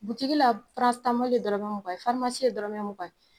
dɔrɔnmɛ mugan ye ye dɔrɔnmɛ mugan ye.